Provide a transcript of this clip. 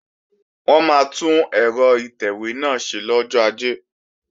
Wọn máa tún ẹ̀rọ ìtẹ̀wé náà ṣe lọ́jọ́ Ajé